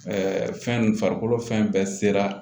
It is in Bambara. fɛn farikolo fɛn bɛɛ sera